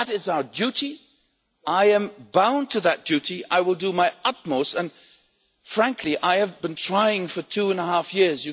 That is our duty, I am bound to that duty, I will do my utmost, and frankly I have been trying for two and half years.